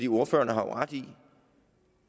ordføreren har jo ret i